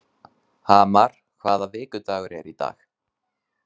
Hamar, hvaða vikudagur er í dag?